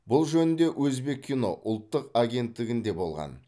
бұл жөнінде өзбеккино ұлттық агенттігінде болған